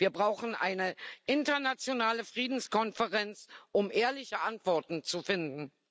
Wir brauchen eine internationale Friedenskonferenz, um ehrliche Antworten zu finden.